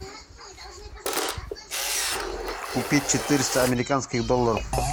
купить четыреста американских долларов